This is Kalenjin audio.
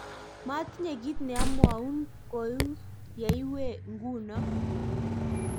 matinye kiit ne amwaun koi ye iwe nguno